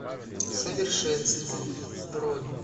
совершенство бронь